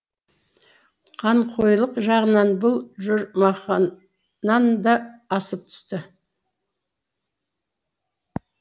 қанқойлық жағынан бұл жұрмақаннан да асып түсті